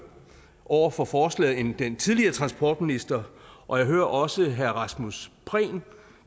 over for forslaget end den tidligere transportminister og jeg hører også herre rasmus prehn